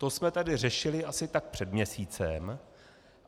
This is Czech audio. To jsme tady řešili asi tak před měsícem.